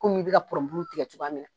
Komi' i bɛ ka pɔnronbulu tigɛ cogoya min na.